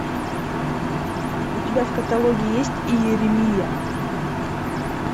у тебя в каталоге есть иеремия